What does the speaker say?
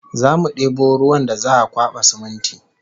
Zamu debo ruwan da za'a kwaba siminti